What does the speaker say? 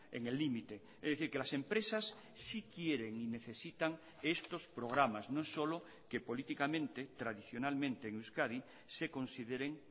en el límite es decir que las empresas sí quieren y necesitan estos programas no solo que políticamente tradicionalmente en euskadi se consideren